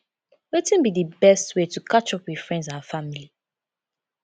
wetin be di best way to catch up with friends and family